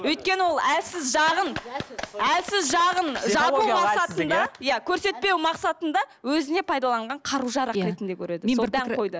өйткені ол әлсіз жағын әлсіз жағын иә көрсетпеу мақсатында өзіне пайдаланған қару жарақ ретінде көреді сол даңғойды